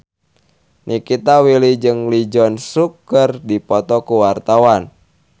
Nikita Willy jeung Lee Jeong Suk keur dipoto ku wartawan